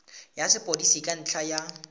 ya sepodisi ka ntlha ya